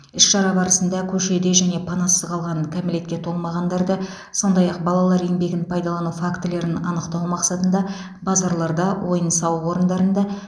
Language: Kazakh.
іс шара барысында көшеде және панасыз қалған кәмелетке толмағандарды сондай ақ балалар еңбегін пайдалану фактілерін анықтау мақсатында базарларда ойын сауық орындарында